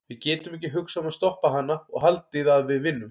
Við getum ekki hugsað um að stoppa hana og haldið að við vinnum.